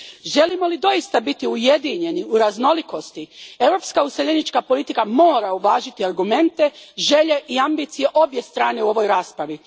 Želimo li doista biti ujedinjeni u raznolikosti, europska useljenička politika mora uvažiti argumente, želje i ambicije obje strane u ovoj raspravi.